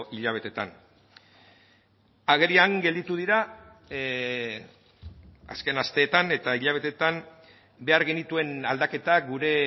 hilabeteetan agerian gelditu dira azken asteetan eta hilabeteetan behar genituen aldaketak gure